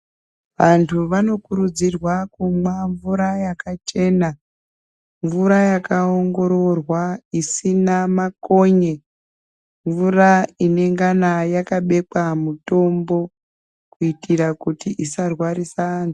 Antu vanokurudzirwa kumwa mvura yakachena mvura yakaongoororwa isina makonye mvura inengana yakabekwa mutombo kuitira kuti isarwarisa antu.